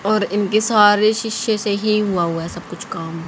और इनके सारे शीशे से ही हुआ हुवा है सब कुछ काम।